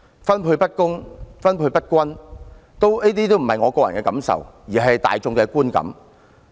分配不公、分配不均，這不是我個人感受，亦是大眾的觀感。